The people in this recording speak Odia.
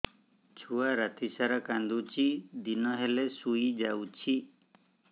ଛୁଆ ରାତି ସାରା କାନ୍ଦୁଚି ଦିନ ହେଲେ ଶୁଇଯାଉଛି